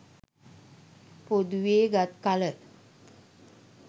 පොදුවේ ගත් කල